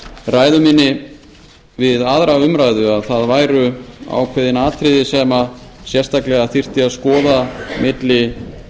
ræðu minni við aðra umræðu að það væru ákveðin atriði sem sérstaklega þyrfti að skoða milli